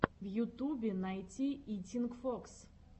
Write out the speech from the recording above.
в ютубе найти итинг фокс